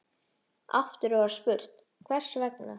Aftur var spurt: Hvers vegna?